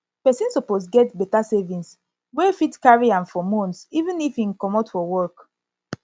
person suppose get better savings wey fit carry wey fit carry am for months even if im comot for work